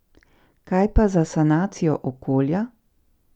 Kaj pa za sanacijo okolja?